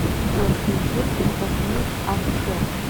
джой включи тасмин акхер